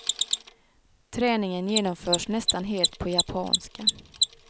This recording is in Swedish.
Träningen genomförs nästan helt på japanska.